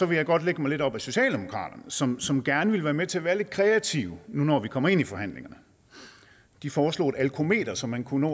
vil jeg godt lægge mig lidt op ad socialdemokratiet som som gerne ville være med til at være lidt kreative nu når vi kommer ind i forhandlingerne de foreslog et alkometer som man kunne